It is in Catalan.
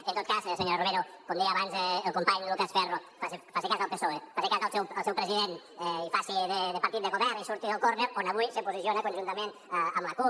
en tot cas senyora romero com deia abans el company lucas ferro faci cas del psoe faci cas al seu president i faci de partit de govern i surti del córner on avui se posiciona conjuntament amb la cup